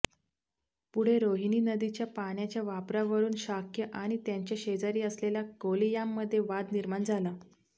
पुढे रोहिणी नदीच्या पाण्याच्या वापरावरून शाक्य आणि त्यांच्या शेजारी असलेल्या कोलियांमध्ये वाद निर्माण झाला